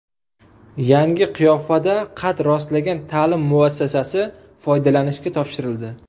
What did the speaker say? Yangi qiyofada qad rostlagan ta’lim muassasasi foydalanishga topshirildi.